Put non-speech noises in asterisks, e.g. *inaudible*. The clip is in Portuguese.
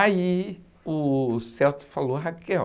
Aí o *unintelligible* falou, *unintelligible*